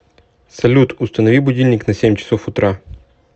салют установи будильник на семь часов утра